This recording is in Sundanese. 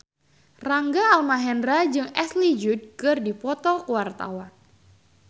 Rangga Almahendra jeung Ashley Judd keur dipoto ku wartawan